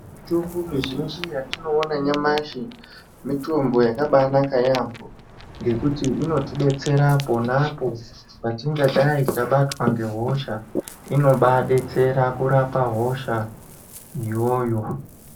Mitombo mizhinji yatinoona nyamashi mitombo yakabanaka yaamho ngekuti inotidetsera ponapo patingadai tabatwa ngehosha inobadetsera kurapa hosha iyoyo.